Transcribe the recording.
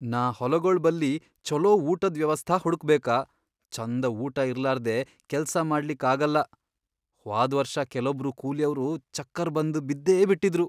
ನಾ ಹೊಲಗೊಳ್ ಬಲ್ಲಿ ಛೊಲೋ ಊಟದ್ ವ್ಯವಸ್ಥಾ ಹುಡಕ್ಬೇಕ. ಛಂದ ಊಟಾ ಇರ್ಲಾರ್ದೇ ಕೆಲ್ಸಾ ಮಾಡ್ಲಿಕ್ ಆಗಲ್ಲಾ, ಹ್ವಾದ್ ವರ್ಷ ಕೆಲೊಬ್ರು ಕೂಲಿಯವ್ರು ಚಕ್ಕರ್ ಬಂದ್ ಬಿದ್ದೇ ಬಿಟ್ಟಿದ್ರು.